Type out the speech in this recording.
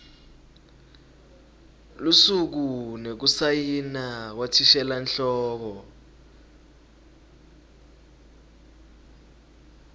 lusuku nekusayina kwathishelanhloko